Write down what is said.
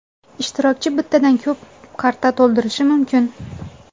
Ishtirokchi bittadan ko‘p karta to‘ldirishi mumkin.